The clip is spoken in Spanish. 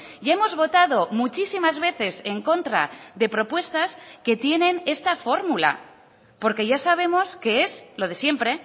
y hemos votado muchísimas veces en contra de propuestas que tienen esta fórmula porque ya sabemos que es lo de siempre